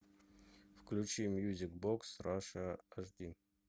включи мьюзик бокс раша аш ди